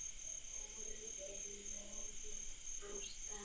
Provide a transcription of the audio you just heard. Kúlan er lögð af stað.